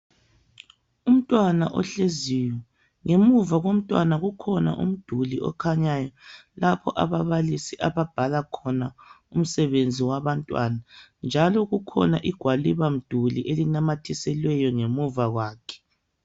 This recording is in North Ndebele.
Umntwana ohleziyo, ngemuva komntwana kukhona umduli okhanyayo lapho ababalisi ababhala khona umsebenzi wabantwana njalo kukhona igwaliba mduli elinamathiselweyo ngemuva kwakhe